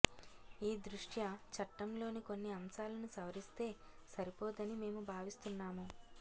ఈ దృష్ట్యా చట్టంలోని కొన్ని అంశాలను సవరిస్తే సరిపోదని మేము భావిస్తున్నాము